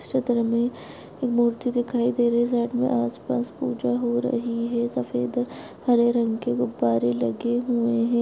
इस चित्र में एक मूर्ति दिखाई दे रही है जहापे आस पास में पूजा हो रही है सफ़ेद हरे रंग के गुब्बारे लगे हुए हैं।